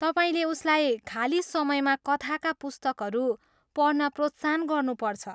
तपाईँले उसलाई खाली समयमा कथाका पुस्तकहरू पढ्न प्रोत्साहन गर्नुपर्छ।